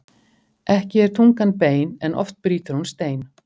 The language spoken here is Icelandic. Ekki er tungan bein en oft brýtur hún stein.